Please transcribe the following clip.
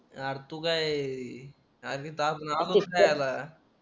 यार तू काय आरधी टाकून ऑफिसला आला